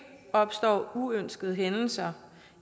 opstår uønskede hændelser